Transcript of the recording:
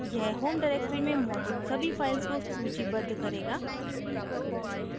यह home directory में मौजूद सभी files को सूचीबद्ध करेगा